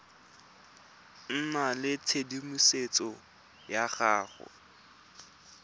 nna le tshedimosetso ya go